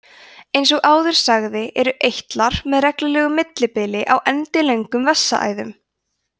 eins og áður sagði eru eitlar með reglulegu millibili á endilöngum vessaæðum